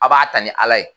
A b'a ta ni ala ye